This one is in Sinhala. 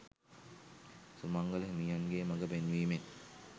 සුමංගල හිමියන්ගේ මඟ පෙන්වීමෙන්